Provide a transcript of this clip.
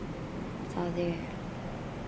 Það er